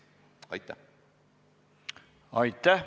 Aitäh!